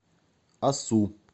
асу